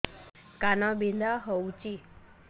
କାନ ବିନ୍ଧା ହଉଛି